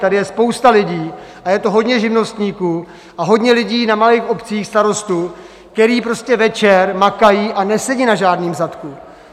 Tady je spousta lidí, a je to hodně živnostníků a hodně lidí na malých obcích, starostů, kteří prostě večer makají a nesedí na žádném zadku.